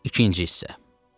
İkinci hissə.